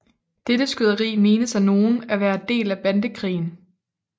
Dette skyderi menes af nogen at være del af Bandekrigen